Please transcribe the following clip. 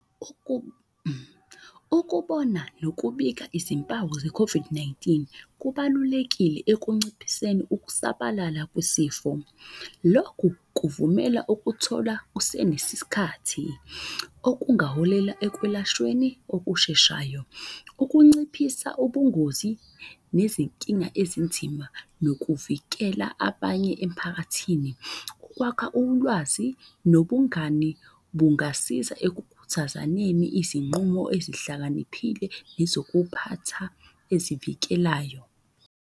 Ukubona nokubika izimpawu ze-COVID-19 kubalulekile ekunciphiseni ukusabalala kwesifo. Lokhu kuvumela ukuthola kusenesikhathi okungaholela ekwelashweni okusheshayo. Ukunciphisa ubungozi nezinkinga ezinzima, nokuvikela abanye emphakathini. Ukwakha ulwazi nobungani bungasiza ekukhuthazaneni izinqumo ezihlakaniphile, nezokuphatha ezivikelayo.